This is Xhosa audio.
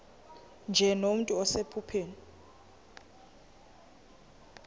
nje nomntu osephupheni